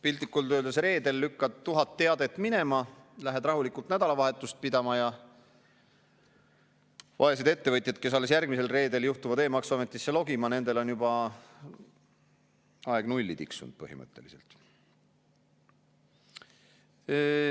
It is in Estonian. Piltlikult öeldes, reedel lükkad 1000 teadet minema, lähed rahulikult nädalavahetust pidama ja vaesed ettevõtjad, kes alles järgmisel reedel juhtuvad e-maksuametisse sisse logima, nendel on juba aeg nulli tiksunud põhimõtteliselt.